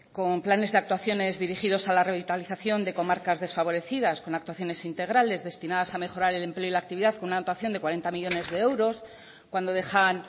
con planes de actuaciones dirigidos a la revitalización de comarcas desfavorecidas con actuaciones integrales destinadas a mejorar el empleo y la actividad con una dotación de cuarenta millónes de euros cuando dejan